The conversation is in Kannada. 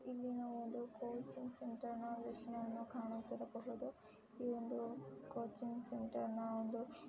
ಇಲ್ಲಿ ನಾವು ಒಂದು ಕೋಚಿಂಗ್ ಸೆಂಟರ್ ನ ವೀಕ್ಷಣೆಯನ್ನು ಕಾಣುತ್ತಿರಬಹುದು ಈ ಒಂದು ಕೋಚಿಂಗ್ ಸೆಂಟರ್ ನ ಒಂದು.--